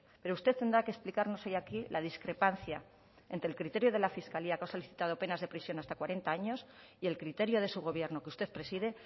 pero usted tendrá que explicarnos hoy aquí la discrepancia entre el criterio de la fiscalía que ha solicitado penas de prisión de hasta cuarenta años y el criterio de su gobierno que usted preside